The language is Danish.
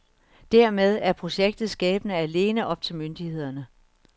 Dermed er projektets skæbne alene op myndighederne.